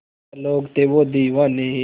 क्या लोग थे वो दीवाने